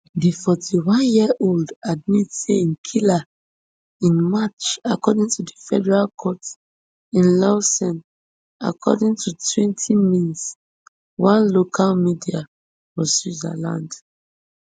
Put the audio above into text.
di forty-oneyearold admit say im kill her in march according to di federal court in lausanneaccording to twentymins one local media for switzerland